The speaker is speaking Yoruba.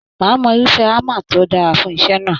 Máà mọ irufẹ hámà tó dára fún iṣẹ náà.